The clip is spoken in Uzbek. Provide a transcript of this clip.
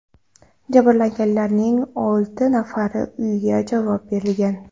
Jabrlanganlarning olti nafariga uyga javob berilgan.